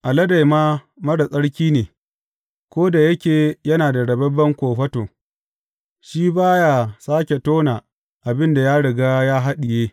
Alade ma marar tsarki ne; ko da yake yana da rababben kofato, shi ba ya sāke tona abin da ya riga ya haɗiye.